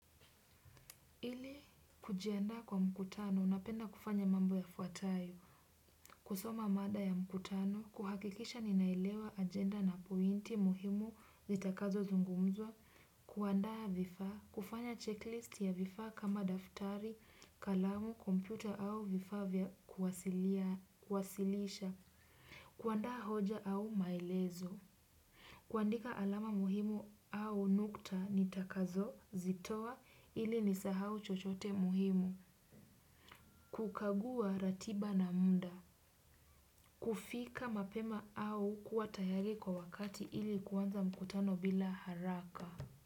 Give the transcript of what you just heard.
Ili kujiandaa kwa mkutano unapenda kufanya mambo yafuatayo kusoma mada ya mkutano kuhakikisha ninailewa agenda na pointi muhimu zitakazo zungumzwa kuandaa vifa kufanya checklist ya vifaa kama daftari kalamu kompyuta au vifaa kwasilisha kuandaa hoja au maelezo. Kuandika alama muhimu au nukta ni takazo, zitoa, ili ni sahau chochote muhimu. Kukagua ratiba na muda. Kufika mapema au kua tayari kwa wakati ili kuanza mkutano bila haraka.